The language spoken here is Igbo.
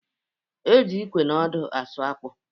E ji ịkwe na ọdụ asụ akpụ